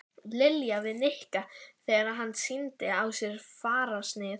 Lilja við Nikka þegar hann sýndi á sér fararsnið.